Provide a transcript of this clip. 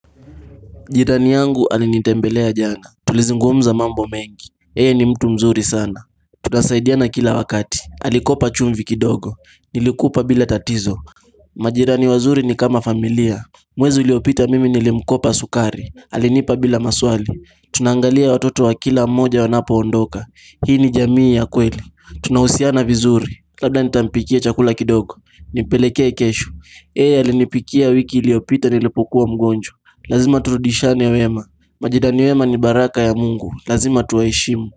Jirani yangu alinitembelea jana, tulizingumza mambo mengi, yeye ni mtu mzuri sana. Tunasaidiana kila wakati, alikopa chumvi kidogo, nilikupa bila tatizo Majirani wazuri ni kama familia, mwezi uliopita mimi nilimkopa sukari, alinipa bila maswali. Tunaangalia watoto wa kila mmoja wanapoondoka, hii ni jamii ya kweli. Tunahusiana vizuri, labda nitampikia chakula kidogo, nimpelekea kesho. Yeye alinipikia wiki iliopita nilipokua mgonjwa. Lazima turudishiane wema. Majirani wema ni baraka ya Mungu Lazima tuwaheshimu.